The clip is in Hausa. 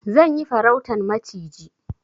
Zan yi farautan maciji.